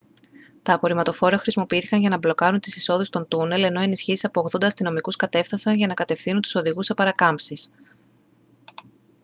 τα απορριμματοφόρα χρησιμοποιήθηκαν για να μπλοκάρουν τις εισόδους των τούνελ ενώ ενισχύσεις από 80 αστυνομικούς κατέφθασαν για να κατευθύνουν τους οδηγούς σε παρακάμψεις